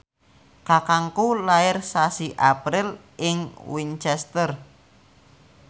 kakangku lair sasi April ing Winchester